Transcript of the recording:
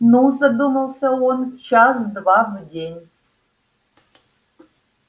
ну задумался он час-два в день